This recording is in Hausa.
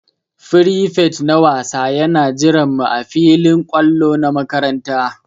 Firifet na wasa Yana jiran mu ã filin kwallo na makaranta.